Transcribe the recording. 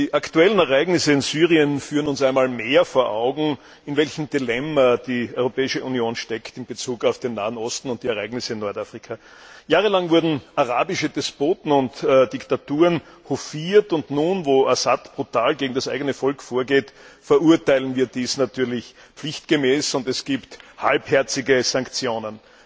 Die aktuellen Ereignisse in Syrien führen uns einmal mehr vor Augen, in welchem Dilemma die Europäische Union in Bezug auf den Nahen Osten und die Ereignisse in Nordafrika steckt. Jahrelang wurden arabische Despoten und Diktaturen hofiert und nun, wo Assad brutal gegen das eigene Volk vorgeht, verurteilen wir dies natürlich pflichtgemäß, und es gibt halbherzige Sanktionen.